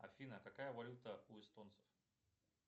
афина какая валюта у эстонцев